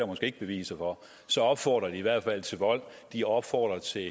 måske ikke beviser for så opfordrer de i hvert fald til vold de opfordrer til